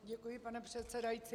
Děkuji, pane předsedající.